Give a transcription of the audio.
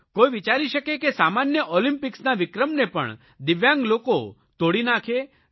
કોઇ વિચારી શકે છે કે સામાન્ય ઓલિમ્પિકસના વિક્રમને પણ દિવ્યાંગ લોકોએ તોડી નાખે